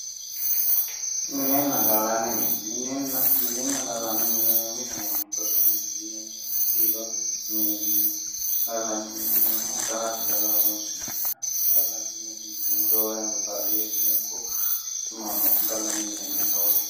Minenna gallanni mine minenna gallanni mine yineemmo woyte rosu mineno mineho yineemmo biirono mineho yineemmo ,gallanni mine yineemmohu galate calla horonsi'nanniha gallanni mineti yineemmo roore anga baadiyyeteno ikko quchumahono gallanni mine yinne